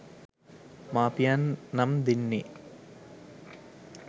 මාපියන් නම් දෙන්නේ